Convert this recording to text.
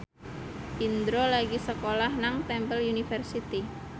Indro lagi sekolah nang Temple University